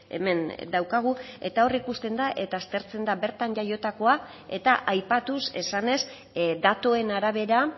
hemen daukagu eta hor ikusten da eta aztertzen da bertan jaiotakoa eta aipatuz esanez datuen arabera